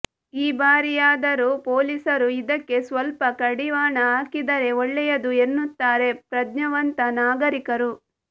ಈ ಬಾರಿಯಾದರೂ ಪೊಲೀಸರು ಇದಕ್ಕೆ ಸ್ವಲ್ಪ ಕಡಿವಾಣ ಹಾಕಿದರೆ ಒಳ್ಳೆಯದು ಎನ್ನುತ್ತಾರೆ ಪ್ರಜ್ಞಾವಂತ ನಾಗರಿಕರು